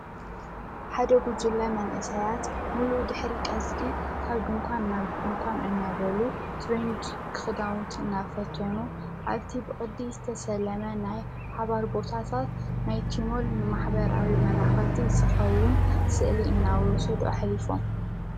ሓደ ጉጅለ መንእሳያት ሙሉ ድኅሪ ቀስሪ ካብ ድንኳን ናብ ድንኳን እናበሉ ትርንድ ክኽዳውንት እና ፈተኑ ኣብቲ ብቕዲ ዝተሰለመ ናይ ሓባር ቦሳሳት ናይቲሞል ማኅበራዊ መራኸብቲ ዝስኸውን ሥእሊ እናወሰዱ እሕሊፎም።